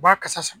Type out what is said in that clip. U b'a kasa